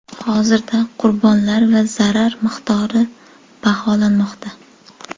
Hozirda qurbonlar va zarar miqdori baholanmoqda.